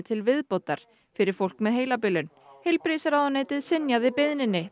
til viðbótar fyrir fólk með heilabilun heilbrigðisráðuneytið synjaði beiðninni